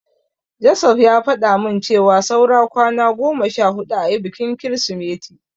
Joseph ya faɗa min cewa saura kwana goma sha huɗu ayi bikin Kirsimeti.